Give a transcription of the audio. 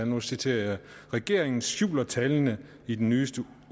nu citerer jeg regeringen skjuler tallene i den nyeste